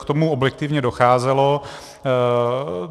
K tomu objektivně docházelo.